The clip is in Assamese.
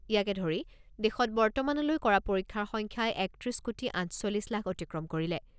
ইয়াকে ধৰি দেশত বৰ্তমানলৈ কৰা পৰীক্ষাৰ সংখ্যাই একত্ৰিছ কোটি আঠচল্লিছ লাখ অতিক্ৰম কৰিলে।